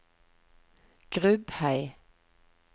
Grubhei